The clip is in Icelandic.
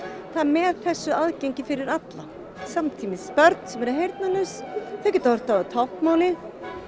þá með þessu aðgengi fyrir all samtímis börn sem eru heyrnarlaus þau geta horft á táknmálið